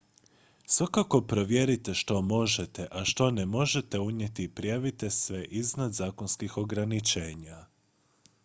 svakako provjerite što možete a što ne možete unijeti i prijavite sve iznad zakonskih ograničenja